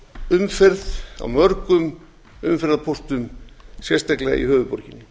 umferð á mörgum umferðarpóstum sérstaklega í höfuðborginni